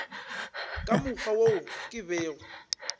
ka mokgwa wo ke bego